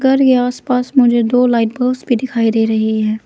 और ये आसपास मुझे दो लाइट बल्ब्स भी दिखाई दे रही है।